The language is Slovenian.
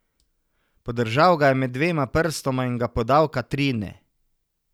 Podržal ga je med dvema prstoma in ga podal Katrine.